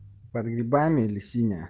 под грибами или синяя